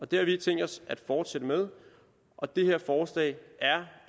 det har vi tænkt os at fortsætte med og det her forslag er